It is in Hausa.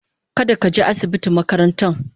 kada ka je asibitin makarantan.